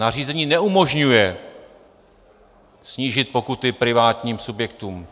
Nařízení neumožňuje snížit pokuty privátním subjektům.